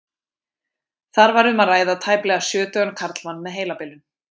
Þar var um að ræða tæplega sjötugan karlmann með heilabilun.